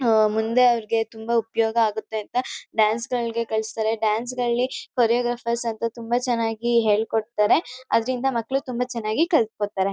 ಆಹ್ಹ್ ಮುಂದೆ ಅವರಿಗೆ ತುಂಬಾ ಉಪಯೋಗ ಆಗುತ್ತೆ ಅಂತ ಡಾನ್ಸ್ ಗಳ್ಗೆ ಕಳ್ಸ್ತಾರೆ ಡಾನ್ಸ್ ಗಳಲ್ಲಿ ಕೋರಿಯೋಗ್ರಾಫ್ರ್ಸ್ ಅಂತ ತುಂಬಾ ಚನ್ನಾಗಿ ಹೇಳ್ಕೊಡ್ತಾರೆ ಅದ್ರಿಂದ ಮಕ್ಕಳು ತುಂಬಾ ಚನ್ನಾಗಿ ಕಲ್ತ್ಕೊ ತಾರೆ.